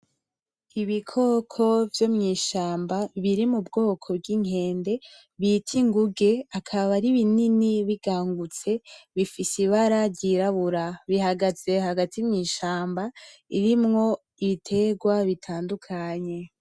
Ibikoko vyomwishamba birimubwoko bwinkende bita inguge akaba ari binini bigangutse bifise ibara iryirabura bihagaze hagati mwishamba ririmwo ibiterwa butandukanye.